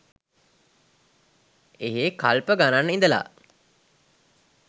එහේ කල්ප ගණන් ඉඳලා